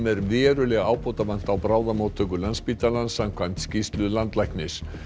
eru verulega ábótavant á bráðamóttöku Landspítalans samkvæmt skýrslu landlæknis